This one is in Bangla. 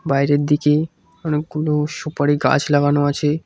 বাইরের দিকে অনেকগুলো সুপারি গাছ লাগানো আছে।